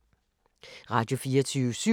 Radio24syv